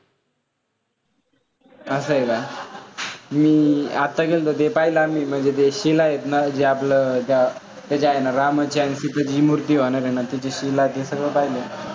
असं आहे का? मी आता गेलतो ते पाहिलं आम्ही म्हणजे जे शिला आहेत ना, जे आपलं ह्याची आहे ना, रामा ची सिताची जी मूर्ती होणार आहे ना ते शिला सगळं पाहिलं.